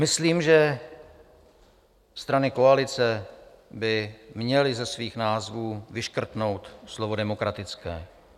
Myslím, že strany koalice by měly ze svých názvů vyškrtnout slovo demokratické.